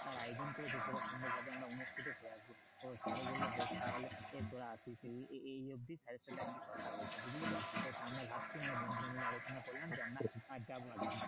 আয়োজন করেছে সেটা সুন্দর ভাবে আমরা অনুষ্ঠিত করে আসবো তো sir বললো বেশ তাহলে তোরা আসিস এই এই এই অবধি sir এর সাথে একদিন কথা হল বুঝলে তো? তো আমরা ভাবছি মানে বন্ধুরা মিলে আলোচনা করলাম যে আমরা যাবো আর কি